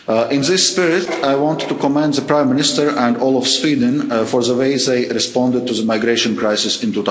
In this spirit, I want to commend the Prime Minister and all of Sweden for the way they responded to the migration crisis